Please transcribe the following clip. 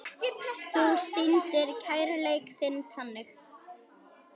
Þú sýndir kærleik þinn þannig.